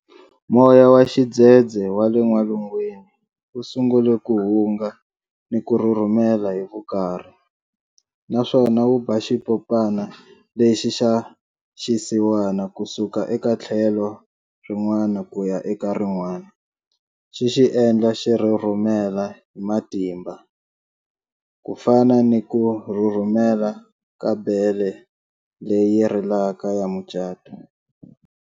Moya wa xidzedze wa le n'walungwini wu sungule ku hunga ni ku rhurhumela hi vukarhi, naswona wu ba xipopana lexi xa xisiwana ku suka eka tlhelo rin'wana ku ya eka rin'wana, xi xi endla xi rhurhumela hi matimba, ku fana ni ku rhurhumela ka bele leyi rilaka ya mucato.